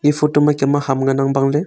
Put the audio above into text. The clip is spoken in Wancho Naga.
e photo photo ma kem ham ngana bangle.